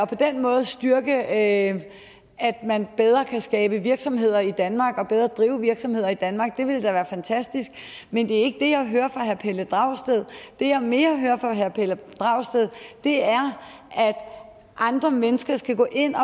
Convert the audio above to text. på den måde styrke at man bedre kan skabe virksomhed i danmark og bedre drive virksomhed i danmark det ville da være fantastisk men det er ikke det jeg hører fra herre pelle dragsted det jeg mere hører fra herre pelle dragsted er at andre mennesker skal gå ind og